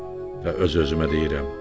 Və öz-özümə deyirəm: